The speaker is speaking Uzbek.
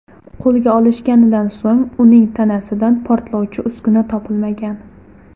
Qo‘lga olishganidan so‘ng, uning tanasidan portlovchi uskuna topilmagan.